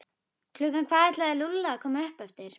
Klukkan hvað ætlaði Lúlli að koma upp eftir?